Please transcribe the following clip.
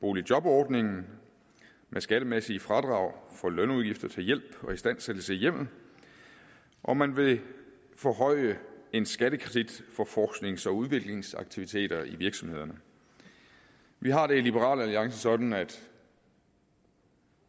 boligjobordningen med skattemæssige fradrag for lønudgifter til hjælp og istandsættelse i hjemmet og man vil forhøje en skattekredit for forsknings og udviklingsaktiviteter i virksomhederne vi har det i liberal alliance sådan at